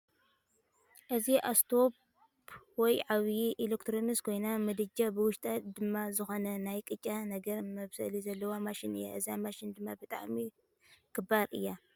እዚ እስቶፕ ወይ ዓባይ ኤለክትሮኒክስ ኮይና ምድጃን ብውሽጣ ድማ ዝኮነ ናይ ቅጫ ነገር መብሰሊ ዘለዋ ማሽን እያ። እዛ ማሽን ድማ ብጣዕሚ ክባር እያ።